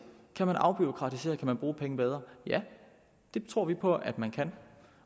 kan man afbureaukratisere kan man bruge pengene bedre ja det tror vi på at man kan